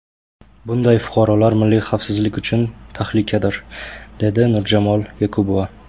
Bunday fuqarolar milliy xavfsizlik uchun tahlikadir”, dedi Nurjamol Jakubova.